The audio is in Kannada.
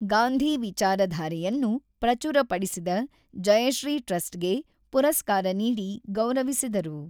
ಗಾಂಧಿ ವಿಚಾರಧಾರೆಯನ್ನು ಪ್ರಚುರಪಡಿಸಿದ ಜಯಶ್ರೀ ಟ್ರಸ್ಟ್‌ಗೆ ಪುರಸ್ಕಾರ ನೀಡಿ ಗೌರವಿಸಿದರು.